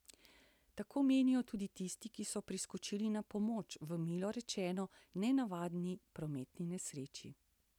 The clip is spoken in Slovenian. Tako menijo tudi tisti, ki so priskočili na pomoč v milo rečeno nenavadni prometni nesreči.